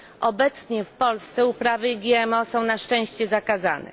Obecnie w Polsce uprawy GMO są na szczęście zakazane.